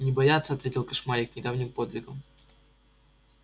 не бояться ответил кошмарик довольный своим недавним подвигом